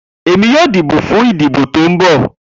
Emi yoo dibo fun idibo ti n bọ